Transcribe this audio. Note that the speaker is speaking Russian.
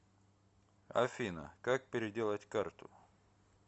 афина как переделать карту